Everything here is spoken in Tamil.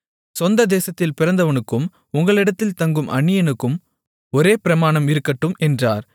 சொந்த தேசத்தில் பிறந்தவனுக்கும் உங்களிடத்தில் தங்கும் அந்நியனுக்கும் ஒரே பிரமாணம் இருக்கட்டும் என்றார்